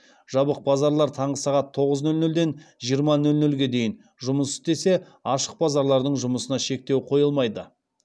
жабық базарлар таңғы сағат тоғыз нөл нөлден жиырма нөл нөлге дейін жұмыс істесе ашық базарлардың жұмысына шектеу қойылмайды